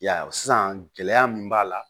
I y'a ye sisan gɛlɛya min b'a la